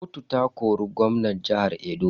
Kotu ta kori gwamnan jihar Edo.